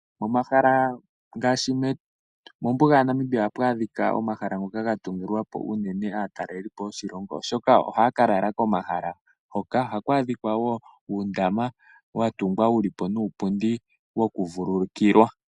Momahala ngaashi mombuga yaNamibia ohapu adhika omahala ngoka ga tungilwa po unene aataleli po yoshilongo oshoka ohaya ka lala komahala hoka ohaku adhika uundama wa tungwa wuli po nuupundi woku vululukilwa.